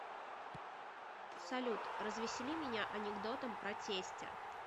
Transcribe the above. салют развесели меня анекдотом про тестя